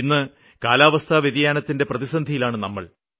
ഇന്ന് കാലാവസ്ഥാ വ്യതിയാനത്തിന്റെ പ്രതിസന്ധിയിലാണ് നമ്മള്